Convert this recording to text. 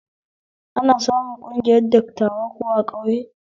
Ana samun ƙungiyar dattawa kuwa a ƙauye?